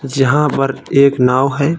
जहाँ पर एक नाव है।